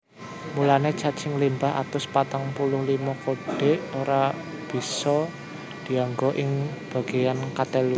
Mulané cacah limang atus patang puluh limo kodhe ora bisa dianggo ing bagéan katelu